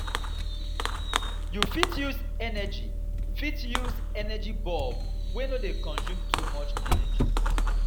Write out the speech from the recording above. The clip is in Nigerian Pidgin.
You fit use energy fit use energy bulb wey no dey consume too much energy